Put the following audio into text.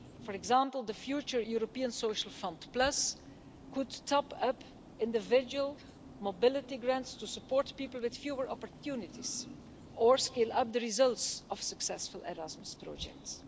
For example, the future European Social Fund Plus could top up individual mobility grants to support people with fewer opportunities or skill up the results of successful Erasmus projects.